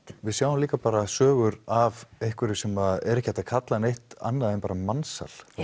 við sjáum líka bara sögur af einhverju sem er ekki hægt að kalla neitt annað en mansal